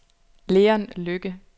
Leon Lykke